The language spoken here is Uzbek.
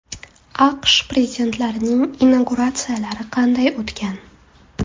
AQSh prezidentlarining inauguratsiyalari qanday o‘tgan?